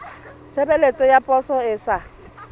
tshebeletso ya poso e sa